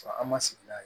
Sɔrɔ an ma sigi n'a ye